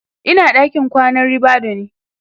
Ina a ɗakin kwanan ribadu ne